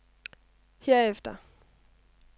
herefter